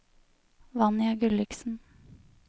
Vanja Gulliksen